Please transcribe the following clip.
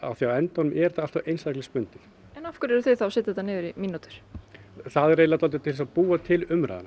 því á endanum er þetta einstaklingsbundið en af hverju eruð þið þá að setja þetta niður í mínútur það er eiginlega dálítið til að búa til umræðuna